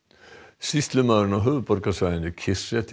sýslumaðurinn á höfuðborgarsvæðinu